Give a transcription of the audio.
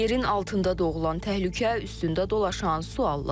Yerin altında doğulan təhlükə, üstündə dolaşan suallar.